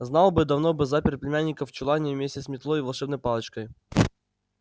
знал бы давно бы запер племянника в чулане вместе с метлой и волшебной палочкой